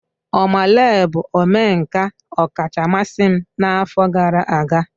Oma Lee bụ omenka ọkacha mmasị m n'afọ gara aga.